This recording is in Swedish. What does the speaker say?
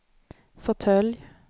fåtölj